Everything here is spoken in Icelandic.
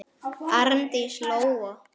Arndís Lóa.